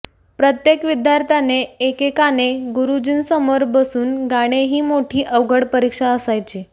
प्रत्येक विद्यार्थ्याने एकेकाने गुरु जींसमोर बसून गाणे ही मोठी अवघड परीक्षा असायची